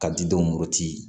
Ka di dɔwti